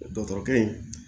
Dɔtɔrɔkɛ in